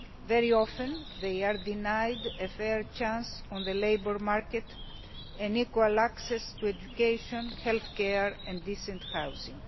Very often they are denied a fair chance on the labour market, equal access to education, healthcare and decent housing.